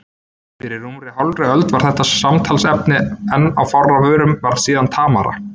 Fyrir rúmri hálfri öld var þetta samtalsefni enn á fárra vörum, varð síðar tamara.